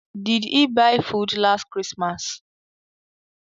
Did he buy food last christmas